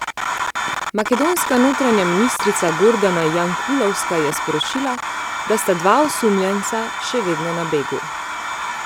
Makedonska notranja ministrica Gordana Jankulovska je sporočila, da sta dva osumljenca še vedno na begu.